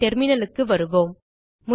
நம் terminalக்கு வருவோம்